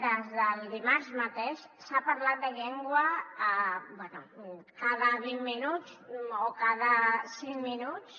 des del dimarts mateix s’ha parlat de llengua bé cada vint minuts o cada cinc minuts